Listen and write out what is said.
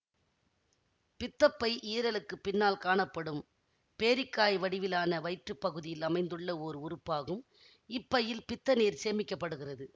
பித்தப்பை ஈரலுக்குப் பின்னால் காணப்படும் பேரிக்காய் வடிவிலான வயிற்று பகுதியில்அமைந்துள்ள ஓர் உறுப்பகும் இப்பையில் பித்தநீர் சேமிக்க படுகிறது